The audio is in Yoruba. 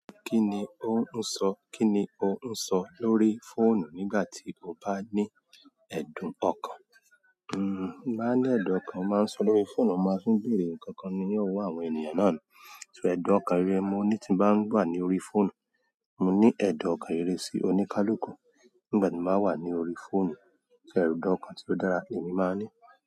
Kí ni ó ń sọ, kí ni o ń sọ lórí fóònù nígbà tí o bá ní ẹ̀dùn ọkàn? Hmm, bá ní ẹ̀dùn ọkàn, màá ń sọ lórí fóònù, màá fún ìbéèrè, kankan ni yóò mú àwọn ènìyàn náà. Ṣé ẹ̀dùn ọkàn rere mo ní tí bá ń wà ní orí fóònù? Mo ní ẹ̀dùn ọkàn rere sí oníkálukú nígbà tí màá wà ní orí fóònù. So ẹ̀dùn ọkàn tí ó dára ni èmi máa ní?